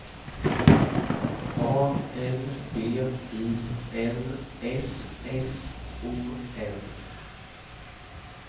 A L B I N S S O N